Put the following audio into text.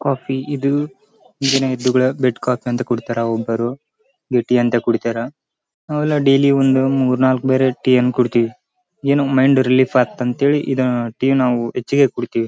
Coffee ಇದು ಈಗಿನ bed coffee ಅಂತ ಕುಡಿತರ. ಒಬ್ಬರು ಟೀ ಅಂತ ಕುಡಿತರ ನಾವು ಎಲ್ಲ ಡೈಲಿ ಮೂರ್ ನಾಲ್ಕ್ ಬಾರಿ ಟೀ ಅನ್ನು ಕುಡಿತೀವಿ. ಏನು ಮೈಂಡ್ ರಿಲೀಫ್ ಆಗುತ್ತೆ ಅಂತ ಇದು ನಾವು ಟೀ ಅನ್ನು ಹೆಚ್ಚಿಗೆ ಕುಡಿತೀವಿ.